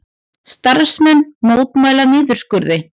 Starfsmenn mótmæla niðurskurði